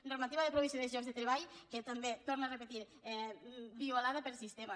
normativa de provisió de llocs de treball també ho torno a repetir violada per sistema